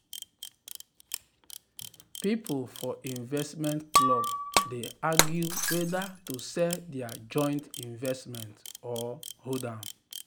people for investment club dey argue whether to sell their joint investment or hold am.